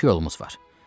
İki yolumuz var.